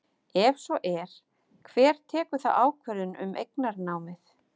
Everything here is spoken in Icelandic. Ef svo er, hver tekur þá ákvörðun um eignarnámið?